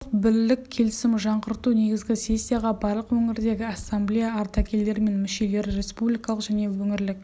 тұрақтылық бірлік келісім жаңғырту негізі іессияға барлық өңірдегі ассамблея ардагерлері мен мүшелері республикалық және өңірлік